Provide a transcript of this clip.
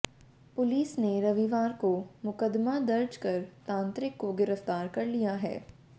police ने रविवार को मुकदमा दर्ज कर तांत्रिक को गिरफ्तार कर लिया है